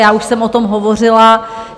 Já už jsem o tom hovořila.